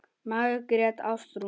Margrét Ástrún.